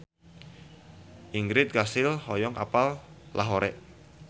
Ingrid Kansil hoyong apal Lahore